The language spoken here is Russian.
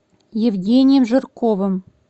евгением жирковым